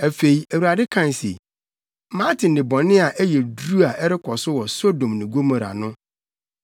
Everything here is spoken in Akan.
Afei, Awurade kae se, “Mate nnebɔne a ɛyɛ duru a ɛrekɔ so wɔ Sodom ne Gomora no.